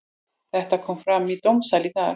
Þetta kom fram í dómssal í dag.